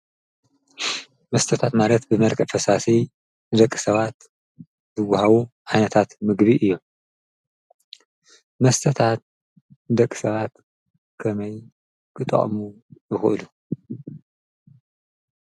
መስተታት ማለት ብመልክዕ ፈሳሲ ንደቂ ሰባት ዝውሃቡ ዓነታት ምግቢ እዮም፡፡ መስተታት ንደቂ ሰባት ከመይ ክጥቀሙ ይኽእሉ?